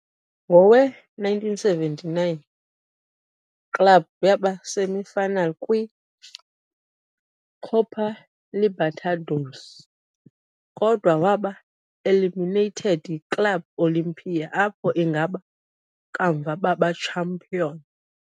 Ngowe-1979, club yaba semi-finalist kwi - Copa Libertadores, kodwa waba eliminated yi - Club Olimpia, apho ingaba kamva baba champion.